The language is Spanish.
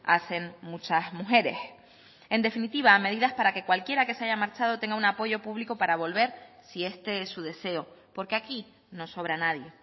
hacen muchas mujeres en definitiva medidas para que cualquiera que se haya marchado tenga un apoyo público para volver si este es su deseo porque aquí no sobra nadie